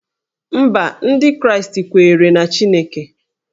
Mba, Ndị Kraịst kweere na Chineke